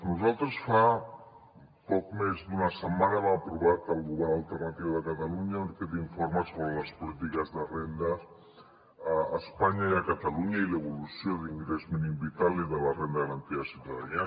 nosaltres fa poc més d’una setmana hem aprovat el govern alternatiu de catalunya aquest informe sobre les polítiques de rendes a espanya i a catalunya i l’evolució de l’ingrés mínim vital i de la renda garantida de ciutadania